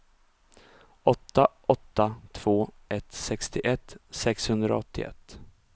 åtta åtta två ett sextioett sexhundraåttioett